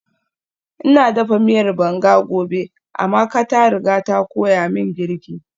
Ina dafa miyar banga gobe, Amaka ta riga ta koya min girki